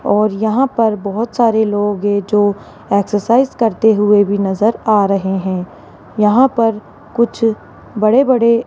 और यहां पर बहुत सारे लोग है जो एक्सरसाइज करते हुए भी नजर आ रहे है यहां पर कुछ बड़े बड़े --